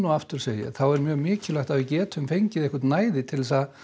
aftur segi ég er mikilvægt að við getum fengið eitthvert næði til að